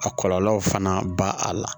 A kɔlɔlɔw fana ba a la